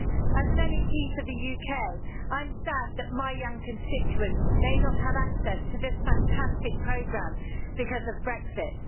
As an MEP for the UK, I'm sad that my young constituents may not have access to this fantastic programme because of Brexit.